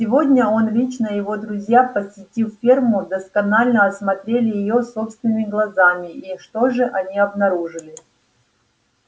сегодня он лично и его друзья посетив ферму досконально осмотрели её собственными глазами и что же они обнаружили